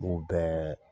U bɛɛ